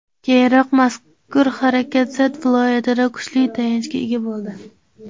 Keyinroq mazkur harakat Sa’d viloyatida kuchli tayanchga ega bo‘ldi.